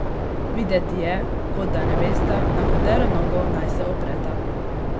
Videti je, kot da ne vesta, na katero nogo naj se opreta.